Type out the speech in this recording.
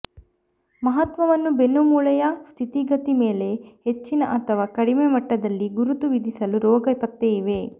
ಮಹತ್ವವನ್ನು ಬೆನ್ನುಮೂಳೆಯ ಸ್ಥಿತಿಗತಿ ಮೇಲೆ ಹೆಚ್ಚಿನ ಅಥವಾ ಕಡಿಮೆ ಮಟ್ಟದಲ್ಲಿ ಗುರುತು ವಿಧಿಸಲು ರೋಗ ಪತ್ತೆ ಇವೆ